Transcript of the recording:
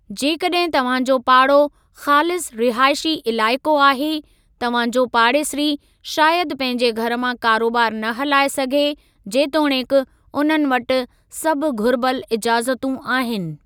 जेकॾहिं तव्हां जो पाड़ो ख़ालिस रिहाइशी इलाइक़ो आहे, तव्हां जो पाड़ेसिरी शायदि पंहिंजे घर मां कारोबारु न हलाए सघे, जेतोणीकि उन्हनि वटि सभु घुरिबल इजाज़तूं आहिनि।